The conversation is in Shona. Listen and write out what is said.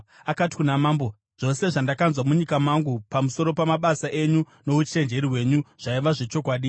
Akati kuna mambo, “Zvose zvandakanzwa munyika mangu pamusoro pamabasa enyu nouchenjeri hwenyu zvaiva zvechokwadi.